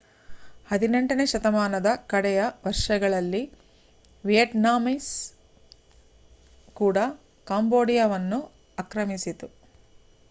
18ನೇ ಶತಮಾನದ ಕಡೆಯ ವರ್ಷಗಳಲ್ಲಿ ವಿಯೆಟ್ನಾಮೀಸ್ ಕೂಡ ಕಾಂಬೋಡಿಯಾವನ್ನು ಆಕ್ರಮಿಸಿತು